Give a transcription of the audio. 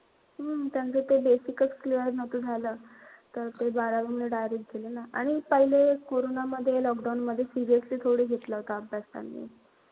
हम्म त्यांचं ते basic च clear नव्हतं झालं. तर ते बारावीला direct गेले ना. आणि पहिले कोरोनामध्ये, lockdown मध्ये seriously थोडी घेतला काम